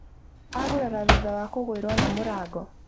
Agurara thutha wa kũgũirwo nĩ mũrango